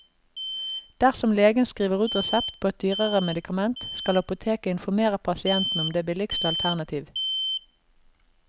Dersom legen skriver ut resept på et dyrere medikament, skal apoteket informere pasienten om det billigste alternativ.